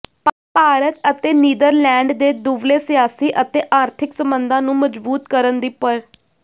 ਭਾਰਤ ਅਤੇ ਨੀਦਰਲੈਂਡ ਨੇ ਦੁਵੱਲੇ ਸਿਆਸੀ ਅਤੇ ਆਰਥਿਕ ਸਬੰਧਾਂ ਨੂੰ ਮਜ਼ਬੂਤ ਕਰਨ ਦੀ ਪ੍